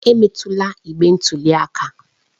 Emetụla igbe ntụli aka